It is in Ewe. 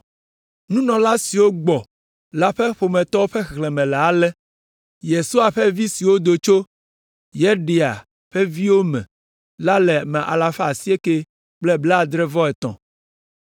Nunɔla siwo gbɔ la ƒe ƒometɔwo ƒe xexlẽme le ale: (Yesua ƒe vi siwo do tso) Yedaia ƒe viwo me la le ame alafa asiekɛ kple blaadre-vɔ-etɔ̃ (973).